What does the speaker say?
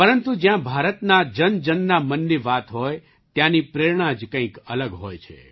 પરંતુ જ્યાં ભારતના જનજનના મનની વાત હોય ત્યાંની પ્રેરણા જ કંઈક અલગ હોય છે